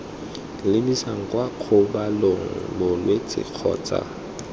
lebisang kwa kgobalong bolwetse kgotsa